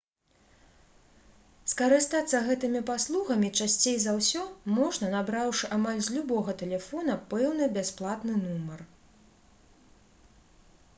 скарыстацца гэтымі паслугамі часцей за ўсё можна набраўшы амаль з любога тэлефона пэўны бясплатны нумар